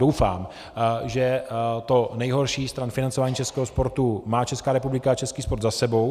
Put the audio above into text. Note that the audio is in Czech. Doufám, že to nejhorší stran financování českého sportu má Česká republika a český sport za sebou.